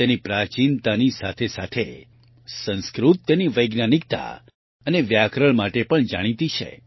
તેની પ્રાચીનતાની સાથે સાથે સંસ્કૃત તેની વૈજ્ઞાનિકતા અને વ્યાકરણ માટે પણ જાણીતી છે